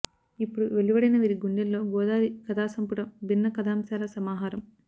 ఇప్పుడు వెలువడిన వీరి గుండెల్లో గోదారి కథాసంపుటం భిన్న కథాంశాల సమాహారం